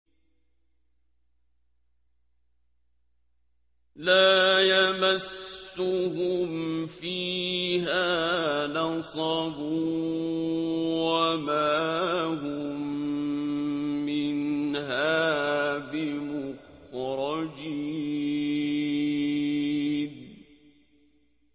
لَا يَمَسُّهُمْ فِيهَا نَصَبٌ وَمَا هُم مِّنْهَا بِمُخْرَجِينَ